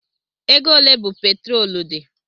Ego ole bụ petrolu di?